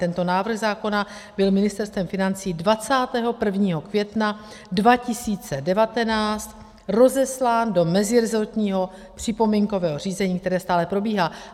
Tento návrh zákona byl Ministerstvem financí 21. května 2019 rozeslán do mezirezortního připomínkového řízení, které stále probíhá.